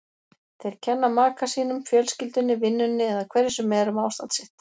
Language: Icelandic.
Þeir kenna maka sínum, fjölskyldunni, vinnunni eða hverju sem er um ástand sitt.